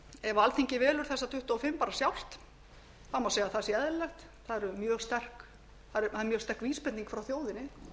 ef alþingi velur þessa tuttugu og fimm bara sjálft má segja að það sé eðlilegt það er mjög sterk vísbending frá þjóðinni